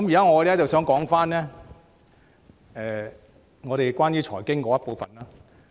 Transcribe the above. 我現在想討論關於財經的部分。